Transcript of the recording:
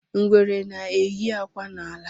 Ngwere na-eyi akwa n'ala.